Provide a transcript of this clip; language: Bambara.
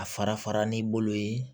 A fara farali bolo ye